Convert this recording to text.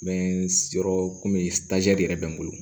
N bɛ yɔrɔ komi yɛrɛ bɛ n bolo